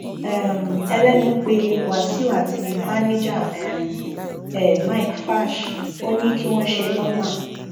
um ẹlẹnu pé wáṣíù àti báníjà um ẹ mike fash ò ní kí wọn ṣe lọmà